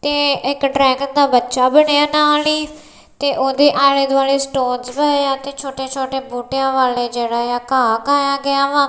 ਤੇ ਇੱਕ ਡਰੈਗਨ ਦਾ ਬੱਚਾ ਬਣਿਆ ਨਾਲ ਹੀ ਤੇ ਓਹਦੇ ਆਲ਼ੇ ਦੁਆਲੇ ਸਟੋਨਸ ਪਏਆ ਤੇ ਛੋਟੇ ਛੋਟੇ ਬੂਟੇਯਾਂ ਵਾਲੇ ਜੇਹੜੇਆ ਘਾਹ ਘਾਯਾ ਗਿਆ ਵਾ।